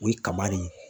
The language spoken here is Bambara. O ye kaba de ye